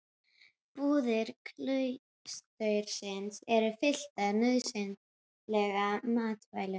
Búðir klaustursins eru fylltar nauðsynlegum matvælum.